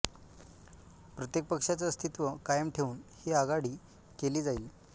प्रत्येक पक्षाचं अस्तित्व कायम ठेवून ही आघाडी केली जाईल